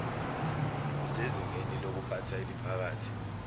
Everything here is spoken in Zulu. usezingeni lokuphatha eliphakathi